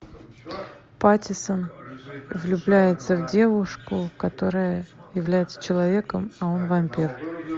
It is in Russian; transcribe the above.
паттинсон влюбляется в девушку которая является человеком а он вампир